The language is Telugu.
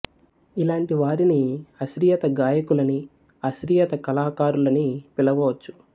ఇలాంటి వారిని ఆశ్రిత గాయకులు అని ఆశ్రిత కళాకారులు అని పిలవవచ్చు